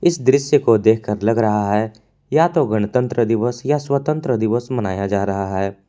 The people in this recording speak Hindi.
इस दृश्य को देखकर लग रहा है या तो गणतंत्र दिवस या स्वतंत्रता दिवस मनाया जा रहा है।